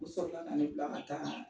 U sɔrɔ ka ne bila ka taa